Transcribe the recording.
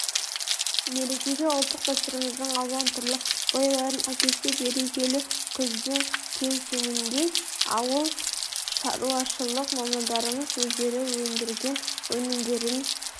мерекеге ұлттық дәстүріміздің алуан түрлі бояуларын әкелсе берекелі күздің кеусеніндей ауылшаруашылық мамандарымыз өздері өндірген өнімдерін